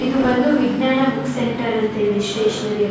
ಇದು ಬಂದು Vijnana book centre ಅಂತೇಳಿ ಸ್ಟೆಷನರಿ --